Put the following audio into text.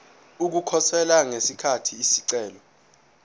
ukukhosela ngesikhathi isicelo